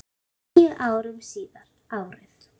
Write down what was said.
Níu árum síðar, árið